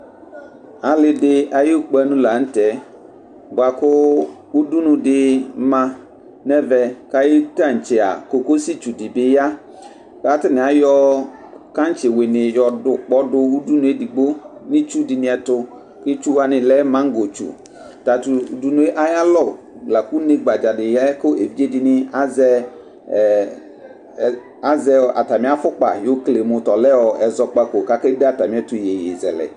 Alidi ayʋ kpanʋ lanʋtɛ bʋkʋ adʋnʋ dima nʋ ɛvɛ ayu tantse kokosi kʋ atani ayɔ kantsi wini yɔdʋ ʋkpɔ dʋ nʋ itsʋ dini ɛtʋ itsʋ wani lɛ mangotsʋ tatʋ ʋdʋ yɛ ayʋ alɔ lakʋ une gbadza di yayɛ kʋ evidze dini azɛ atami afʋkpa yokele mʋ ɔlɛ ɛzɔkpako kʋ akebde atami ɛtʋ iyeye zɛlɛ